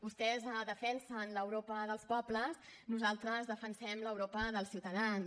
vostès defensen l’europa dels pobles nosaltres defensem l’europa dels ciutadans